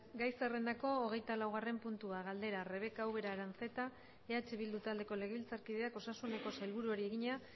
gai zerrendako hogeita laugarrena puntua galdera rebeka ubera aranzeta eh bildu taldeko legebiltzarkideak osasuneko sailburuari egina